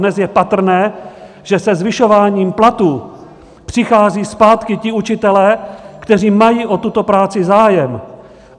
Dnes je patrné, že se zvyšováním platů přicházejí zpátky ti učitelé, kteří mají o tuto práci zájem.